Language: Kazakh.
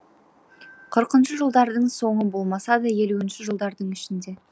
қырқыншы жылдардың соңы болмаса да елуінші жылдардың ішінде